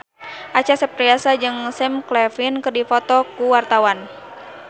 Acha Septriasa jeung Sam Claflin keur dipoto ku wartawan